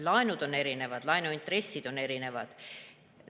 Laenud on erinevad, laenuintressid on erinevad.